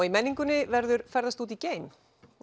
í menningunni verður ferðast út í geim